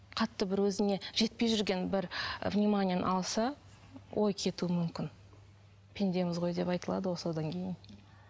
қатты бір өзіне жетпей жүрген бір вниманиені алса ой кетуі мүмкін пендеміз ғой деп айтылады ғой содан кейін